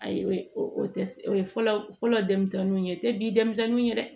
Ayi o o tɛ o ye fɔlɔ denmisɛnninw ye o tɛ bi denmisɛnninw ye dɛ